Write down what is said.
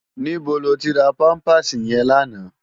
Nibó lótì rá pàmpásí yèn làná?